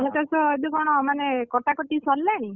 ଧାନ ଚାଷ ଏବେ କ’ଣ ମାନେ କଟାକଟି ସରିଲାଣି?